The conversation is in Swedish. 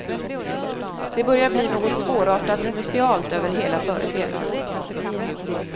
Det börjar bli något svårartat musealt över hela företeelsen.